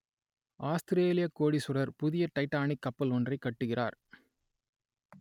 ஆத்திரேலியக் கோடீசுவரர் புதிய டைட்டானிக் கப்பல் ஒன்றைக் கட்டுகிறார்